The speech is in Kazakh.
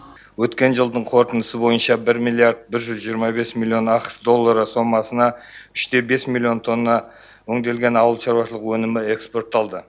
өткен жылдың қорытындысы бойынша бір миллиард бір жүз жиырма бес миллион ақш доллары сомасына үште бес миллион тонна өңделген ауыл шаруашылығы өнімі экспортталды